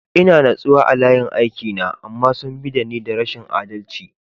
Ina natsuwa a layin aiki na, amma sun bi da ni da rashin adalci.